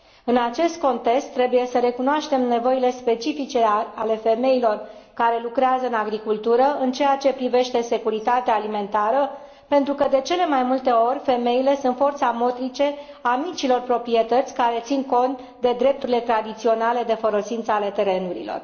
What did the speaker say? În acest context, trebuie să recunoaștem nevoile specifice ale femeilor care lucrează în agricultură în ceea ce privește securitatea alimentară, pentru că, de cele mai multe ori, femeile sunt forța motrice a micilor proprietăți care țin cont de drepturile tradiționale de folosință a terenurilor.